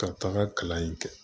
Ka taga kalan in kɛ